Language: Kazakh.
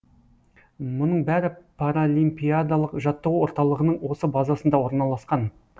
мұның бәрі паралимпиадалық жаттығу орталығының осы базасында орналасқан